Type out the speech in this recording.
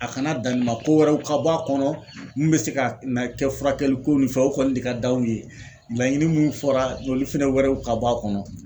A kana dan nin ma kowɛrɛw ka bɔ a kɔnɔ mun bɛ se ka na kɛ furakɛli ko ni fɛnw o kɔni de ka d'aw ye laɲini mun fɔra olu fɛnɛ wɛrɛw ka bɔ a kɔnɔ.